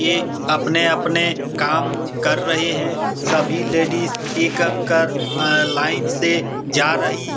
ये अपने-अपने काम कर रहे हैं | सभी लेडिज़ एक एक कर अ अ लाइन से जा रही --